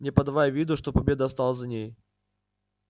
не подавая виду что победа осталась за ней